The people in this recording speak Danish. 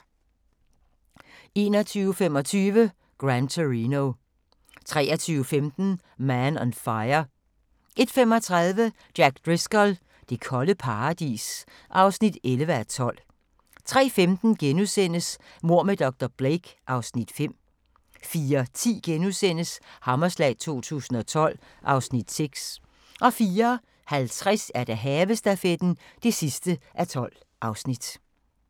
21:25: Gran Torino 23:15: Man on Fire 01:35: Jack Driscoll – det kolde paradis (11:12) 03:15: Mord med dr. Blake (Afs. 5)* 04:10: Hammerslag 2012 (Afs. 6)* 04:50: Havestafetten (12:12)